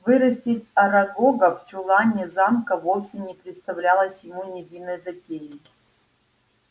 вырастить арагога в чулане замка вовсе не представлялось ему невинной затеей